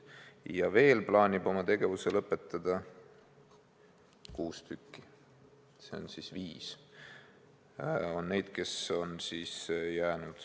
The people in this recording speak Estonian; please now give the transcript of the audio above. Ja veel plaanib oma tegevuse lõpetada kuus tükki, seega jääb järele viis kasvatajat.